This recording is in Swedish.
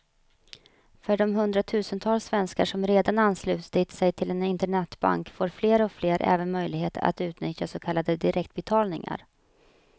För de hundratusentals svenskar som redan anslutit sig till en internetbank får fler och fler även möjlighet att utnyttja så kallade direktbetalningar.